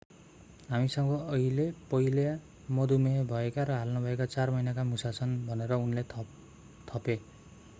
हामीसँग अहिले पहिला मधुमेह भएका र हाल नभएका 4 महिनाका मुसा छन् भनेर उनले थपे